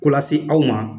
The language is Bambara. Ko lase aw ma